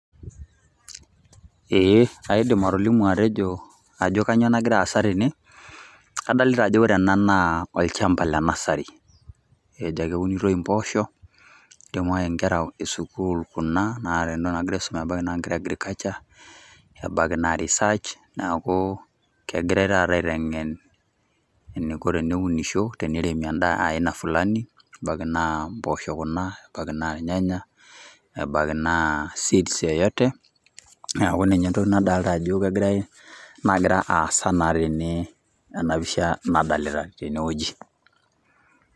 Ee kaidim atolimu atejo ajo kanyioo nagira aasa tene. Kadolita ajo ore ena naa olchamba le nasari. Either keunitoi impoosho, nidimayu inkera esukuul kuna naata entoki nagira aisuma, ebaiki naa ne agriculture, ebaiki naa Research ,neeku kegirai taata aiteng'en eniko tenunisho, teneremi endaa aina fulani, ebaiki naa mpoosho kuna, ebaiki naa irnyanya, ebaiki naa seeds yoyote, neeku ninye entoki nadolta ajo kegirai nagira aasa naa tene tenapisha nadalita tenewueji.